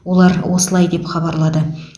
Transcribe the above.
олар осылай деп хабарлады